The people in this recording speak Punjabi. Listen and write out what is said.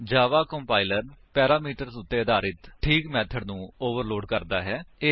ਜਾਵਾ ਕੰਪਾਇਲਰ ਪੈਰਾਮੀਟਰਸ ਉੱਤੇ ਆਧਾਰਿਤ ਠੀਕ ਮੇਥਡ ਨੂੰ ਓਵਰਲੋਡ ਕਰਦਾ ਹੈ